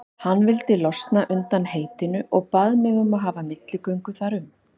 Hann vildi losna undan heitinu og bað mig að hafa milligöngu þar um.